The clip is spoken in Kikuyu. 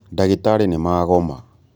Ndagĩtarĩ nĩmagoma